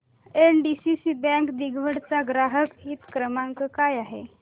NDCC bank दिघवड चा ग्राहक हित क्रमांक काय आहे